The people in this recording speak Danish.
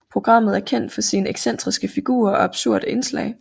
Programmet er kendt for sine excentriske figurer og absurde indslag